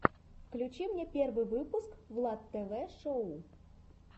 включи мне первый выпуск влад тв шоу